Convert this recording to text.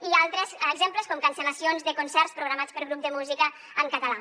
i altres exemples com cancel·lacions de concerts programats per grups de música en català